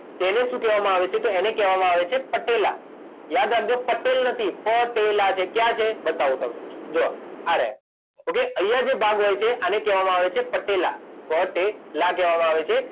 તેને શું કહેવામાં આવે છે તો એને કહેવામાં આવે છે પટેલા યાદ રાખજો પટેલ નથી પ ટે લા છે ક્યાં છે બતાવું તમને જો આ રહ્યા ઓકે અહીંયા જે ભાગ હોય છે આને કહેવામાં આવે છે પટેલા પ ટે લા કહેવામાં આવે છે.